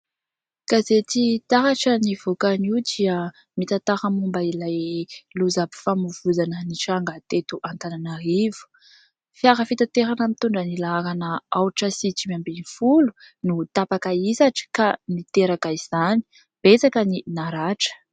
Gazety"Taratra" nivoaka anio dia mitantara momba ilay lozam-pifamoivoizana nitranga teto Antananarivo, fiara fitaterana mitondra ny laharana ahotra sy dimy ambin'ny folo no tapaka hisatra ka niteraka izany. Betsaka ny naratra.